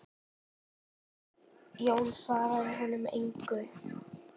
Jón svaraði honum engu.